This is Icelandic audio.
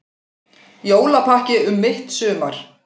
Jólapakki um mitt sumar